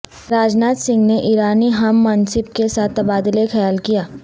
راج ناتھ سنگھ نے ایرانی ہم منصب کے ساتھ تبادلہ خیال کیا